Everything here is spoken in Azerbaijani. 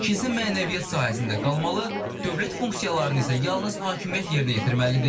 Kilsə mənəviyyat sahəsində qalmalı, dövlət funksiyalarını isə yalnız hakimiyyət yerinə yetirməlidir.